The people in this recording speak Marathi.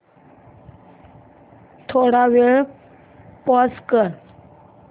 थोडा वेळ पॉझ कर